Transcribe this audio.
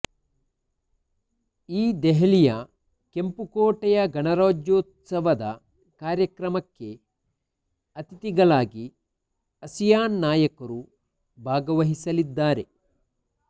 ಈ ದೆಹಲಿಯ ಕೆಂಪುಕೋಟೆಯ ಗಣರಾಜ್ಯೋತ್ಸವದ ಕಾರ್ಯಕ್ರಮಕ್ಕೆ ಅತಿಥಿಗಳಾಗಿ ಅಸಿಯಾನ್ ನಾಯಕರು ಭಾಗವಹಿಸಲಿದ್ದಾರೆ